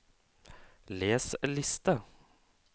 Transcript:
les liste